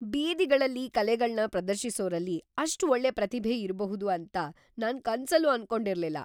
ಬೀದಿಗಳಲ್ಲಿ ಕಲೆಗಳ್ನ ಪ್ರದರ್ಶಿಸೋರಲ್ಲಿ ಅಷ್ಟ್ ಒಳ್ಳೆ ಪ್ರತಿಭೆ ಇರ್ಬಹುದು ಅಂತ್ ನಾನ್‌ ಕನ್ಸಲ್ಲೂ ಅನ್ಕೊಂಡಿರ್ಲಿಲ್ಲ.